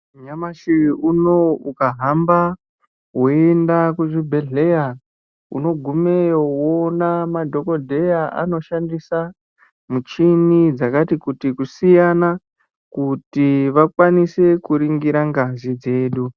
Nyamashi uno ukahamba woenda kuzvibhehleya unogumeyo woona madhokodheya anoshandisa michini dzakati kuti kusiyana kuti vakwanise kuringira ngazi dzedu.